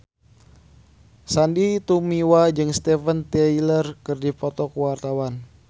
Sandy Tumiwa jeung Steven Tyler keur dipoto ku wartawan